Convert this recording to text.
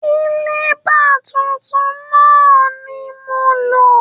Kiliba tuntun náà ni mo lò